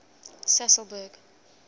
sasolburg